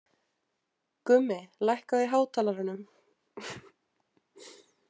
Gummi, lækkaðu í hátalaranum.